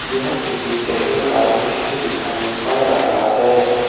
यह किसी जगह का दृश्य दिखाई पड़ रहा है।